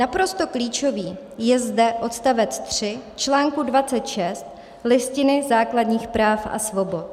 Naprosto klíčový je zde odstavec 3 článku 26 Listiny základních práv a svobod.